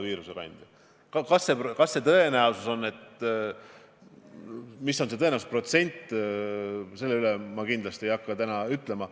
Kui suur see tõenäosus on, seda ma kindlasti ei hakka täna oletama.